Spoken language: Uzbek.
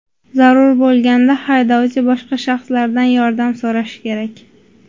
Zarur bo‘lganda haydovchi boshqa shaxslardan yordam so‘rashi kerak.